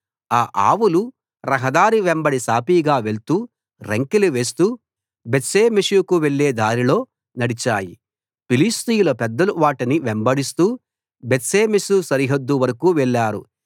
ఆ ఆవులు రహదారి వెంబడి సాఫీగా వెళ్తూ రంకెలు వేస్తూ బేత్షెమెషుకు వెళ్లే దారిలో నడిచాయి ఫిలిష్తీయుల పెద్దలు వాటిని వెంబడిస్తూ బేత్షెమెషు సరిహద్దు వరకూ వెళ్లారు